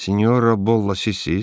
Sinnyora Bolla, sizsiz?